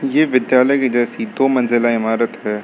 ये विद्यालय की जैसी दो मंजिला इमारत है।